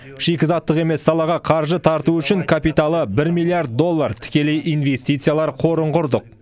шикізаттық емес салаға қаржы тарту үшін капиталы бір миллиард доллар тікелей инвестициялар қорын құрдық